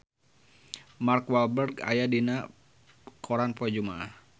Mark Walberg aya dina koran poe Jumaah